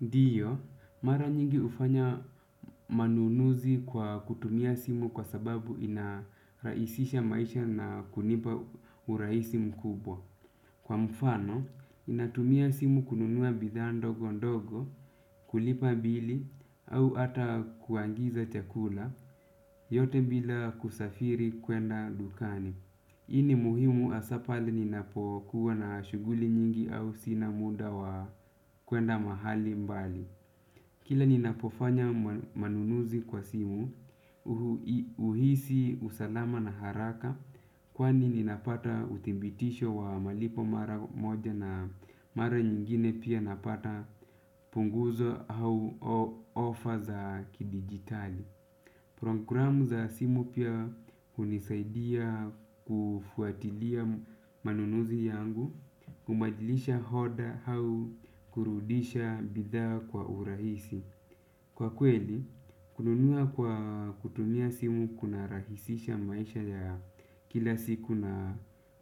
Ndiyo, mara nyingi ufanya manunuzi kwa kutumia simu kwa sababu inaraisisha maisha na kunipa uraisi mkubwa. Kwa mfano, inatumia simu kununua bidhaa ndogo ndogo, kulipa bili, au ata kuangiza chakula, yote bila kusafiri kwenda dukani. Hii ni muhimu hasa pale ninapokuwa na shuguli nyingi au sina muda wa kwenda mahali mbali. Kila ninapofanya manunuzi kwa simu, uhisi usalama na haraka kwani ninapata uthibitisho wa malipo mara moja na mara nyingine pia napata punguzo au offer za kidigitali. Programu za simu pia hunisaidia kufuatilia manunuzi yangu, kumajilisha hoda hau kurudisha bidhaa kwa urahisi. Kwa kweli, kununua kwa kutumia simu kunarahisisha maisha ya kila siku na